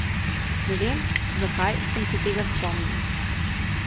Ne vem, zakaj sem se tega spomnil.